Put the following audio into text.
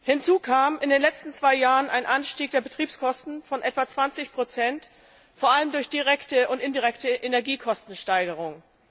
Hinzu kam in den letzten zwei Jahren ein Anstieg der Betriebskosten von etwa 20 vor allem durch direkte und indirekte Energiekostensteigerungen.